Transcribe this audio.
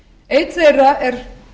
einn þeirra er